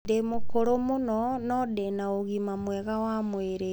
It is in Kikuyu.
Ndĩ mũkũrũ mũno no ndĩ na ũgima mwega wa mwĩrĩ.